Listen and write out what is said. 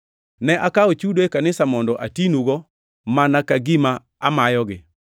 Ne akawo chudo e kanisa mondo atinugo mana ka gima amayogi.